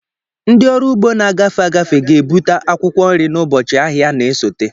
Ndị ọrụ ugbo na-agafe agafe ga-ebute akwụkwọ nri n'ụbọchị ahịa na-esote.